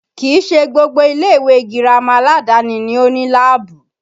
Kìí ṣe gbogbo ilé ìwé girama aládàáni ni ó ní láàbù